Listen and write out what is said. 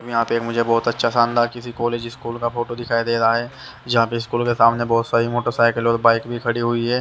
यहां पे मुझे एक बहोत अच्छा किसी शानदार किसी कॉलेज स्कूल का फोटो दिखाई दे रहा है जहां पे स्कूल के सामने बहोत सारी मोटरसाइकल और बाइक भी खड़ी हुई है।